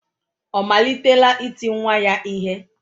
Ọ malitela iti nwa ya ihe?